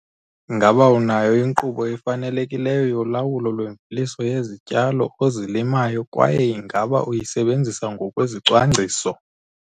Ngaba unayo inkqubo efanelekileyo yolawulo lwemveliso yezityalo ozilimayo kwaye ingaba uyisebenzisa ngokwezicwangciso?